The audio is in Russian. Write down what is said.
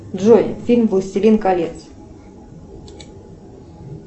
джой фильм властелин колец